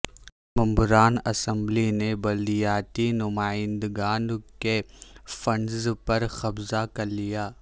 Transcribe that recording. ممبران اسمبلی نے بلدیاتی نمائندگان کے فنڈز پر قبضہ کر لیا